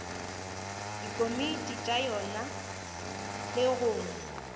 dikomiti tša yona le go